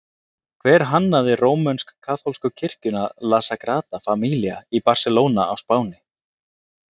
Hver hannaði rómönsk-kaþólsku kirkjuna La Sagrada Familia í Barselóna á Spáni?